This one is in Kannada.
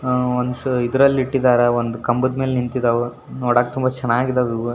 ಆ ವನ್ಸ್ ಇದರಲ್ಲಿಟ್ಟಿದ್ದಾರೆ ಒಂದು ಕಂಬದ ಮೇಲೆ ನಿಂತಿದಾವು ನೋಡಕ್ ತುಂಬ ಚೆನ್ನಾಗಿದೆ ಇವು.